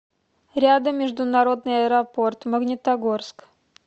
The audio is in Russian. рядом международный аэропорт магнитогорск